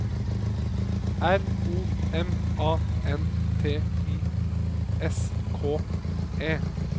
R O M A N T I S K E